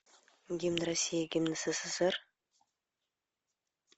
гимн россии гимн ссср